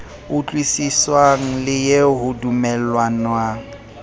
utlwisiswang le eo ho dumellanwang